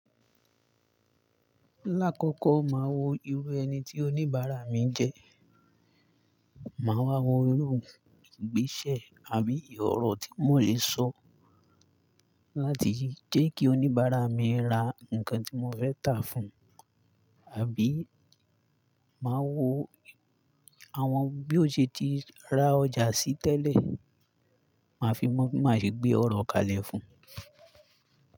Lákọ̀kọ̀ máa wo irú ẹni tí oníbàárà mi jẹ́, máa wá wo irú ìgbésẹ̀ àbí ìòòrọ̀ tí mò lè sọ láti jẹ́ kí oníbàárà mi ra nǹkan tí mò fẹ́ tà fún un, àbí máa wo àwọn bí ó ṣe ti ra ọjà sí tẹ́lẹ̀, màá fi mọ̀ bí màá ṣe gbé ọ̀rọ̀ kalẹ̀ fún un.